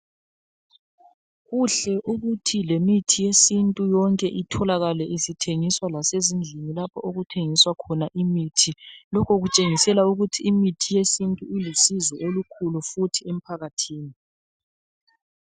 Kuhle ukuthi lemithi yesintu yonke itholakale isithengiswa lasezindlini lapho okuthengiswa khona imithi lokhu kutshengisela ukuthi imithi yesintu ilusizo futhi emphakathini